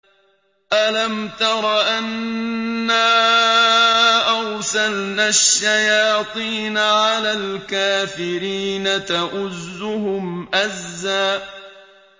أَلَمْ تَرَ أَنَّا أَرْسَلْنَا الشَّيَاطِينَ عَلَى الْكَافِرِينَ تَؤُزُّهُمْ أَزًّا